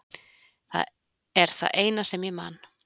Það er það eina sem ég man.